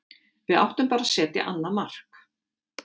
Við áttum bara að setja annað mark.